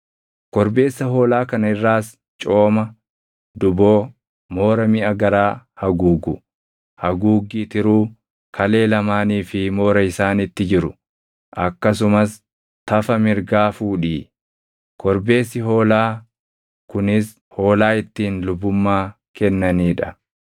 “Korbeessa hoolaa kana irraas cooma, duboo, moora miʼa garaa haguugu, haguuggii tiruu, kalee lamaanii fi moora isaanitti jiru, akkasumas tafa mirgaa fuudhii. Korbeessi hoolaa kunis hoolaa ittiin lubummaa kennanii dha.